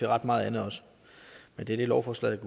ret meget andet men det er det lovforslaget